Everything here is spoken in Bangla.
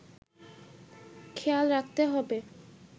খেয়াল রাখতে হবে